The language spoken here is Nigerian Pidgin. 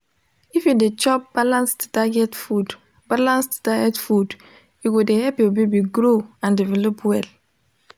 if you de chop balanced diet food balanced diet food e go de help ur baby grow and develop well